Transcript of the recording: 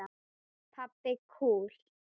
Pabbi kúl!